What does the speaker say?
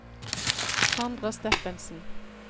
Sandra Steffensen